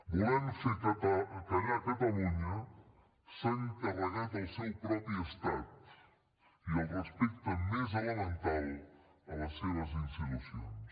volent fer callar catalunya s’han carregat el seu propi estat i el respecte més elemental a les seves institucions